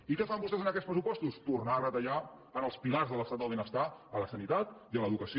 i què fan vostès en aquests pressupostos tornar a retallar en els pilars de l’estat del benestar a la sanitat i a l’educació